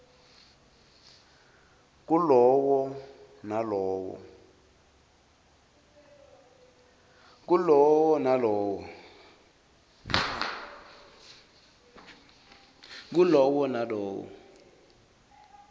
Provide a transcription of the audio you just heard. kulawo nalowo emasheya